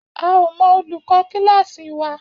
A ò mo olùkó kíláàsì wa